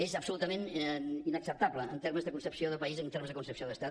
és absolutament inacceptable en termes de concepció de país en termes de concepció d’estat